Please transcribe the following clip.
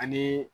Ani